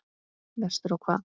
Vestur á hvað?